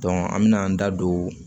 an me n'an da don